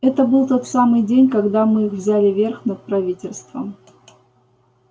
это был тот самый день когда мы взяли верх над правительством